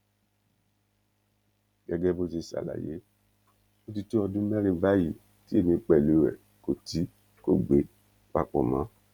gẹgẹ bó ṣe ṣàlàyé ó ti tó ọdún mẹrin báyìí tí èmi pẹlú ẹ kò tí kò gbé papọ mọ